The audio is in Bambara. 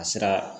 A sera